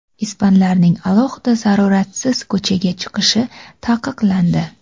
Ispanlarning alohida zaruratsiz ko‘chaga chiqishi taqiqlandi.